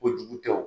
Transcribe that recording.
Kojugu tɛ o